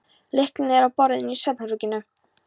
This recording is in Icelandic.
Lyklarnir eru á borðinu í svefnherberginu.